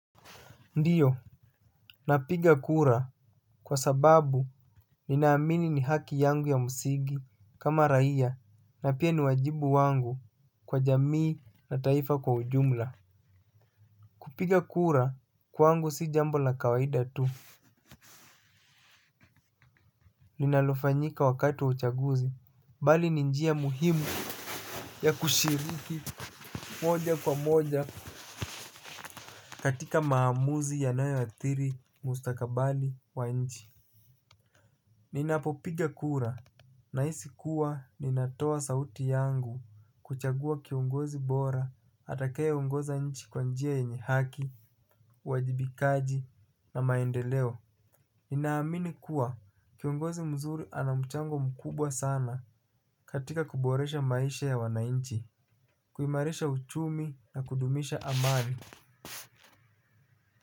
Ndiyo, napiga kura kwa sababu ninaamini ni haki yangu ya msingi kama raia na pia ni wajibu wangu kwa jamii na taifa kwa ujumla. Kupiga kura kwangu si jambo la kawaida tu, linalofanyika wakati wa uchaguzi. Bali ni njia muhimu ya kushiriki moja kwa moja katika maamuzi yanayoathiri mustakabali wa nchi. Ninapopiga kura nahisi kuwa ninatoa sauti yangu kuchagua kiongozi bora atakayeongoza nchi kwa njia yenye haki, uwajibikaji na maendeleo. Ninaamini kuwa kiongozi mzuri ana mchango mkubwa sana katika kuboresha maisha ya wananchi. Kuimarisha uchumi na kudumisha amani.